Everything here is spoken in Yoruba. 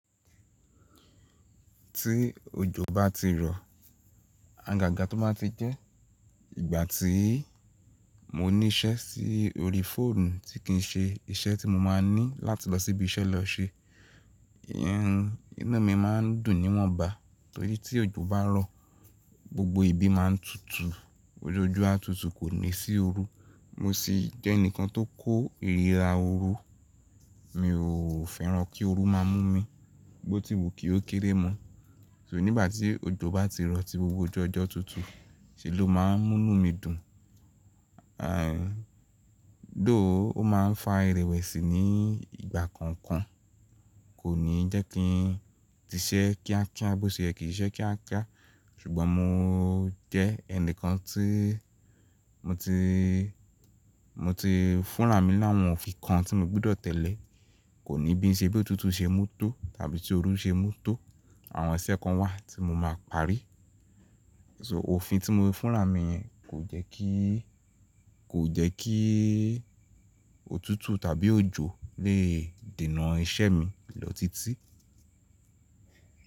Tí òjò bá ti rọ, àgàgà tó máa ti jẹ́, ìgbà tí mo ní iṣẹ́ sí orí fóònù tí kì í ṣe iṣẹ́ tí mo máa ní láti lọ síbi iṣẹ́ lọ ṣe, iyen inu mi máa ń dùn ní wọ̀nba. Torí tí òjò bá rọ̀ gbogbo ibi máa ń tutù, ojú ọjọ́ á tutù kò ní sí orú. Mo sì jẹ́ ẹnìkan tó kó ìríra orú, mi ò fẹ́ràn kí orú máa mú mi, bó ti wù kí ó kéré mọ́. So nígbà tí òjò bá ti rọ̀ tí gbogbo ojú ọjọ́ tutù, ṣe ló máa ń mú mí dùn? Though, ó máa ń fa ìrẹ̀wẹ̀sì ní ìgbà kọ̀ọ̀kan, kò ní jẹ́ kí n ti ṣẹ́ kíákíá bó ṣe ẹ kì í ṣe kíákíá. Ṣùgbọ́n mo jẹ́ ẹnìkan tí mo ti, mo ti fúnra mi láwọn òfin kan tí mo gbúdọ̀ tẹ̀lé. Kò ní bí iṣẹ́ bí òtútù ṣe mú tó tàbí tí orú ṣe mú tó. Àwọn iṣẹ́ kan wà tí mo máa parí. So òfin tí mo fúnra mi kò jẹ́ kí, kò jẹ́ kí òtútù tàbí òjò le dènà iṣẹ́ mi lọ títí.